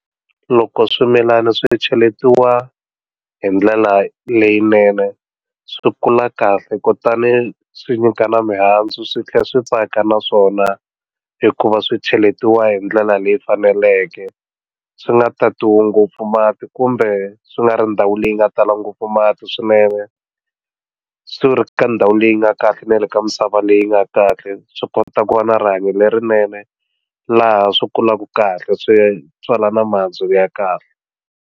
Loko swimilana swi cheletiwa hi ndlela leyinene swi kula kahle kutani swi nyika na mihandzu swi tlhela swi tsaka na swona hikuva swi cheletiwa hi ndlela leyi faneleke swi nga tatiwa ngopfu mati kumbe swi nga ri ndhawu leyi nga tala ngopfu mati swinene swi ri ka ndhawu leyi nga kahle na le ka misava leyi nga kahle swi kota ku va na rihanyo lerinene laha swi kulaka kahle swi tswala na mihandzu ya kahle.